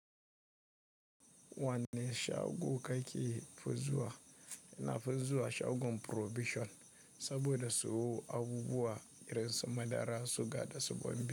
Wanne shago kake fuzuwa na fuzuwa sha ukun prohibition saboda su aguguwa irin su madara, suga da saboni.